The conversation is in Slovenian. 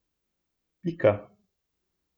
Pika.